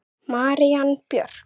Marín Björk.